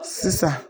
Sisan